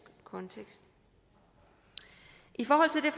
kontekst i forhold til